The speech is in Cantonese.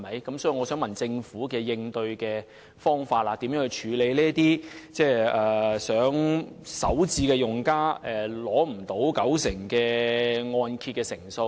因此，我想問政府有何應對方法，如何處理這些首次置業用家無法取得九成按揭的問題？